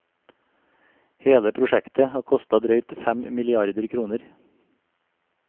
Hele prosjektet har kostet drøyt fem milliarder kroner.